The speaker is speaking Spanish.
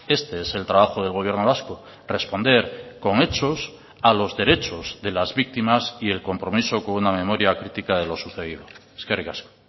este es el trabajo del gobierno vasco responder con hechos a los derechos de las víctimas y el compromiso con una memoria crítica de lo sucedido eskerrik asko